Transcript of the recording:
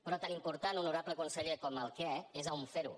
però tan important honorable conseller com el què és on fer ho